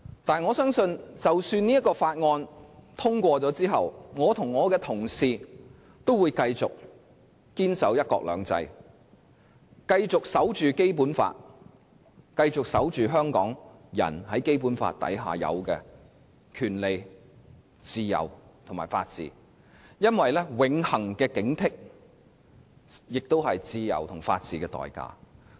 不過，我相信即使這項《條例草案》獲得通過，我和我的同事也會繼續堅守"一國兩制"，繼續守護《基本法》，繼續守護香港人在《基本法》之下應有的權利、自由和法治，因為永恆的警惕，是自由和法治的代價。